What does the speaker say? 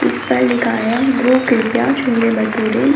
इस पर लिखा है गुरु कृपया छोले भटूरे।